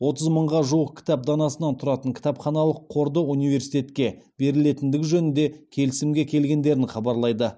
отыз мыңға жуық кітап данасынан тұратын кітапханалық қорды университетке берілетіндігі жөнінде келісімге келгендерін хабарлайды